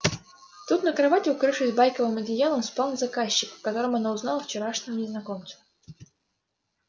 тут на кровати укрывшись байковым одеялом спал заказчик в котором она узнала вчерашнего незнакомца